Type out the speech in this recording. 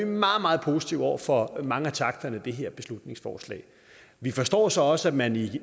meget meget positive over for mange af takterne i det her beslutningsforslag vi forstår så også at man i